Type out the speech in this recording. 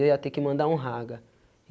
E eu ia ter que mandar um raga.